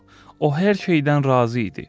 o hər şeydən razı idi.